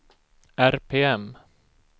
RPM